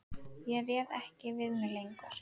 Ég réð ekki við mig lengur.